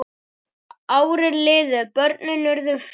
Árin liðu, börnin urðu fjögur.